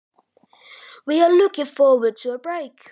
Erum við að horfa fram á hjakk?